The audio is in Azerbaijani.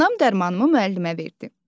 Anam dərmanımı müəllimə verdi.